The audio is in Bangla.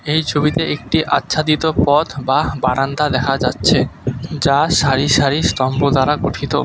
এই ছবিতে একটি আচ্ছাদিত পথ বা বারান্দা দেখা যাচ্ছে যা সারিসারি স্তম্ভ দ্বারা গঠিত।